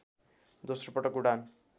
दोश्रो पटक उडान